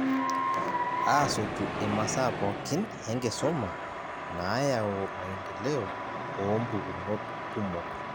Aaasotu imasaa pookin enkisuma nayaau maendeleo oompukunot kumok.